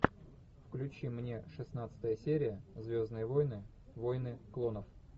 включи мне шестнадцатая серия звездные войны войны клонов